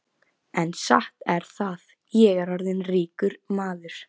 En satt er það, ég er orðinn ríkur maður.